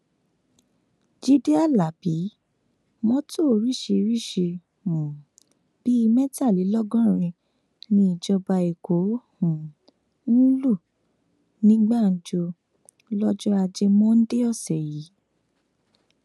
jíde alábi mọtò oríṣìíríṣìí um bíi mẹtàlélọgọrin ní ìjọba èkó um lù ní gbàǹjo lọjọ ajé monde ọsẹ yìí